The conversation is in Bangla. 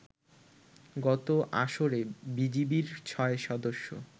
গত আসরে বিজিবির ছয় সদস্য